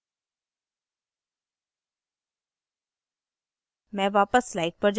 ठीक है